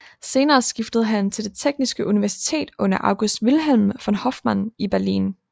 Senere skiftede han til det Tekniske Universitet under August Wilhelm von Hoffman i Berlin